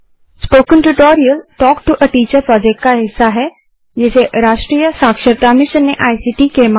spoken tutorial talk to a teacher project का हिस्सा है जिसे राष्ट्रीय साक्षरता मिशन ने इक्ट के माध्यम से समर्थित किया है